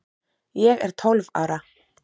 Ég er tólf ára.